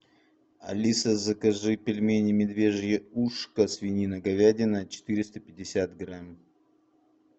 алиса закажи пельмени медвежье ушко свинина говядина четыреста пятьдесят грамм